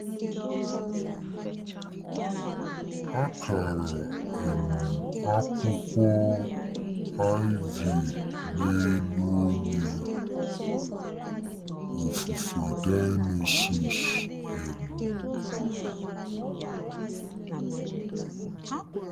Akara um akwukwo ivy n'elu onye ofufe Dionysus um. ”